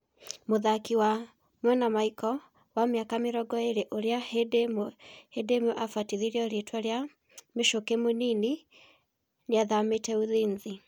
(Kayũ). Mũthaki wa mwena Maiko, wa mĩaka mĩrongo ĩrĩ, ũrĩa hindĩ ĩmwe abatithĩtio rĩtwa rĩa "Michuki mũnini" nĩathamĩte Ulinzi.